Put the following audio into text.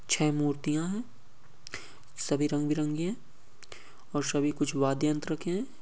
छे मूर्तिया हैं। सभी रंग बिरंगी हैं और सभी कुछ वादयंत्र के हैं।